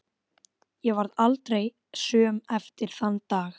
Ég varð aldrei söm eftir þann dag.